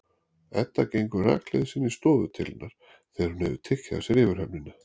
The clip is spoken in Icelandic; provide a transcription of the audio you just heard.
Edda gengur rakleiðis inn í stofu til hennar þegar hún hefur tekið af sér yfirhöfnina.